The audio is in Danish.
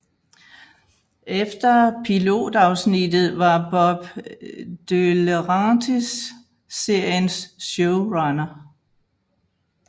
Efter pilot afsnittet var Bob DeLaurentis seriens showrunner